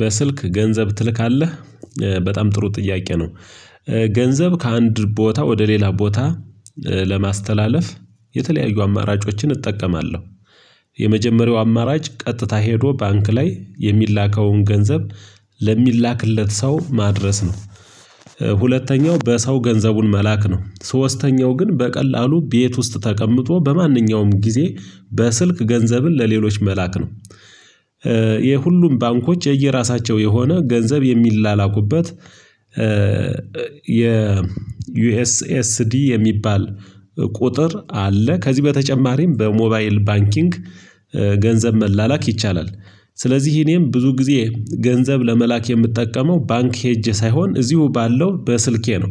በስልክ ገንዘብ ትልካለህ በጣም ጥሩ ጥያቄ ነው። ገንዘብ ከአንድ ቦታ ወደ ሌላ ቦታ ለማስተላለፍ የተለያዩ አማራጮችን እጠቀማለሁ። የመጀመሪያው አማራጭ ቀጥታ ሄዶ ባንክ ላይ የሚላከውን ገንዘብ ለሚላክለት ሰው ማድረስ ነው። ሁለተኛው በሰው ገንዘቡን መላክ ነው ሶስተኛው ግን በቀላሉ ቤት ውስጥ ተቀምጦ በማንኛውም ጊዜ በስልክ ገንዘብን ለሌሎች መላክ ነው። ይሄ ሁሉም ባንኮች የየራሳቸው የሆነ ገንዘብ የሚላላኩበት የዩኤስኤስዲ የሚባል ቁጥር አለ። ከዚህ በተጨማሪም በሞባይል ባንኪንግ ገንዘብ መላላክ ይቻላል። ስለዚህ እኔም ብዙ ጊዜ ገንዘብ ለመላክ የምጠቀመው ባንክ ሄጄ ሳይሆን እዚሁ ባለው በስልኬ ነው።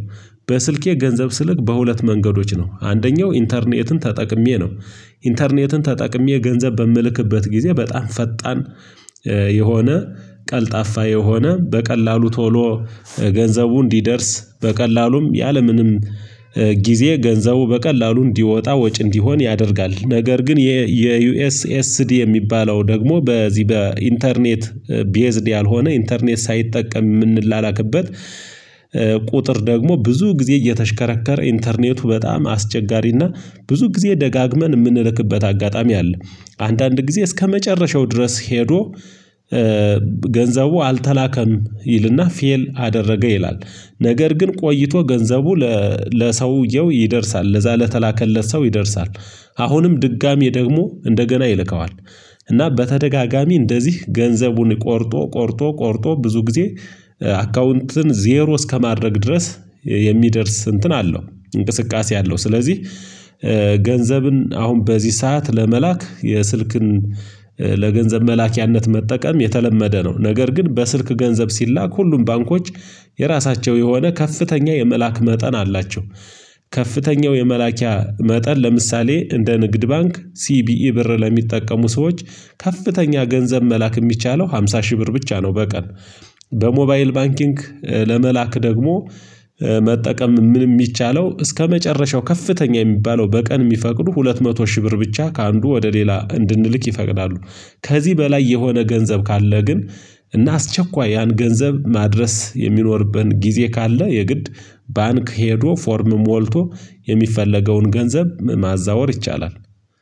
በስልኬ ገንዘብ ስልክ በሁለት መንገዶች ነው አንደኛው ኢንተርኔትን ተጠቅሜ ነው። ኢንተርኔትን ተጠቅሜ ገንዘብ በምልክበት ጊዜ በጣም ፈጣን የሆነ ቀልጣፋ የሆነ በቀላሉ ቶሎ ገንዘቡ እንዲደርስ በቀላሉም ያለምንም ጊዜ ገንዘቡ በቀላሉ እንዲወጣ ወጪ እንዲሆን ያደርጋል። ነገር ግን የዩኤስኤስዲ የሚባለው ደግሞ በዚህ በኢንተርኔት ቤዝድ ያልሆነ ኢንተርኔት ሳይጠቀም የምንላላክበት። ቁጥር ደግሞ ብዙ ጊዜ እየተሽከረከረ ኢንተርኔቱ በጣም አስቸጋሪና ብዙ ጊዜ ደጋግመን የምንልክበት አጋጣሚ አለ። አንዳንድ ጊዜ እስከመጨረሻው ድረስ ሄዶ ገንዘቡ አልተላከም ይልና ፌል አደረገ ይላል። ነገር ግን ቆይቶ ገንዘቡ ለሰውየው ይደርሳል ለዛ ለተላከለት ሰው ይደርሳል። አሁንም ድጋሚ ደግሞ እንደገና ይልከዋል። እና በተደጋጋሚ እንደዚህ ገንዘቡን ቆርጦ ቆርጦ ቆርጦ ብዙ ጊዜ አካውንትን ዜሮ እስከማድረግ ድረስ የሚደርስ እንትን አለው እንቅስቃሴ አለው ስለዚህ። ገንዘብን አሁን በዚህ ሰዓት ለመላክ የስልክን ለገንዘብ መላኪያነት መጠቀም የተለመደ ነው። ነገር ግን በስልክ ገንዘብ ሲላክ ሁሉም ባንኮች የራሳቸው የሆነ ከፍተኛ የመላክ መጠን አላቸው። ከፍተኛው የመላኪያ መጠን ለምሳሌ እንደ ንግድ ባንክ ሲቢኢ ብር ለሚጠቀሙ ሰዎች ከፍተኛ ገንዘብ መላክ የሚቻለው አምሳ ሺህ ብር ብቻ ነው በቀን። በሞባይል ባንኪንግ ለመላክ ደግሞ መጠቀም ምን የሚቻለው እስከመጨረሻው ከፍተኛ የሚባለው በቀን የሚፈቅዱ ሁለት መቶ ሺህ ብር ብቻ ከአንዱ ወደ ሌላ እንድንልክ ይፈቅዳሉ። ከዚህ በላይ የሆነ ገንዘብ ካለ ግን እና አስቸኳይ ያን ገንዘብ ማድረስ የሚኖርብን ጊዜ ካለ የግድ ባንክ ሄዶ ፎርም ሞልቶ የሚፈለገውን ገንዘብ ማዛወር ይቻላል።